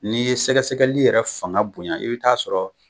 N'i ye sɛgɛsɛgɛli yɛrɛ fanga bonya i be ta'a sɔrɔ